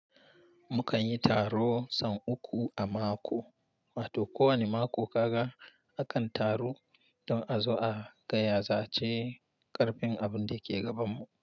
Mukan yi taro son uku a mako, wa to kowane mako ka ga akan taru don a zo a gaya zace ƙarfin abin da ke gabanmu.